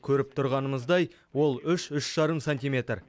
көріп тұрғанымыздай ол үш үш жарым сантиметр